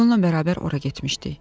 Miqola bərabər ora getmişdik.